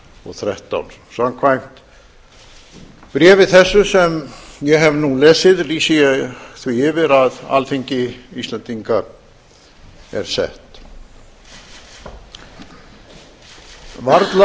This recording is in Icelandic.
og þrettán samkvæmt bréfi þessu sem ég hef nú lesið lýsi ég því yfir að alþingi íslendinga er sett varla